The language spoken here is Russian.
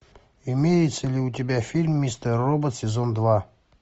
имеется ли у тебя фильм мистер робот сезон два